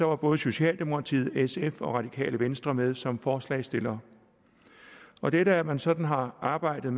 var både socialdemokratiet sf og radikale venstre med som forslagsstillere dette at man sådan har arbejdet